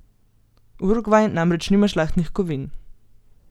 Urugvaj namreč nima žlahtnih kovin.